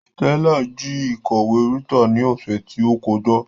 Stella ji ikọwe Rita ni ose ti o koja